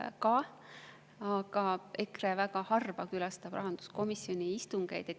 Aga EKRE väga harva külastavad rahanduskomisjoni istungeid.